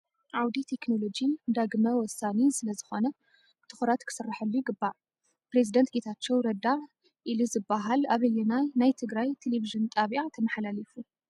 ዓውዲ ቴክኖሎጂ ንዳግመ ወሳኒ ስለ ዝኮነ ብትኩረት ክስርሐሉ ይግባእ። ፕሬዝዳንት ጌታቸው ረዳ ኢሊ ዝብል ኣበየና ናይ ትግራይ ቴሌቭን ጣብያ ተመሓላሊፉ?